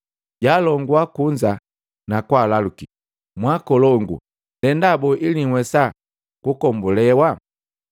Jaalongua kunza na kwaalaluki, “Mwaakolongu, ndenda boo ili nhuwesa kukombulewa?”